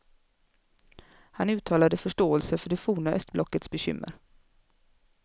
Han uttalade förståelse för det forna östblockets bekymmer.